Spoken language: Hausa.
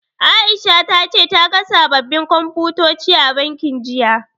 Aisha ta ce ta ga sababbin Komfutoci a bankin, jiya.